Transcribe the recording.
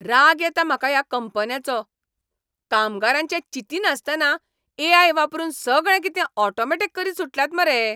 राग येता म्हाका ह्या कंपन्यांचो. कामगारांचें चिंतिनासतना ए.आय. वापरून सगळें कितें ऑटोमॅटिक करीत सुटल्यात मरे हे.